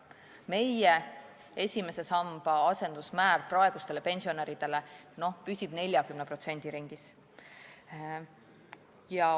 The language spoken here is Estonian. Meie esimese samba asendusmäär püsib praegustel pensionäridel 40% ringis.